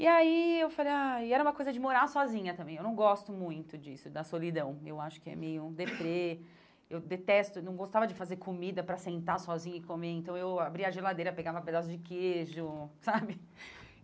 E aí eu falei, ai e era uma coisa de morar sozinha também, eu não gosto muito disso, da solidão, eu acho que é meio um deprê, eu detesto, não gostava de fazer comida para sentar sozinha e comer, então eu abria a geladeira, pegava um pedaço de queijo, sabe?